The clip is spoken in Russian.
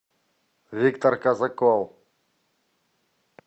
виктор казаков